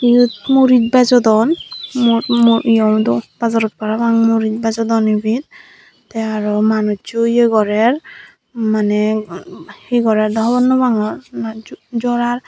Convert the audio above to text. eyot murich bejodon mur mur eyod dow bazarot parapang murij bejodon ebet te aro manuccho ye gorer maneh he gorer dow hogor no pangor na jo jorar.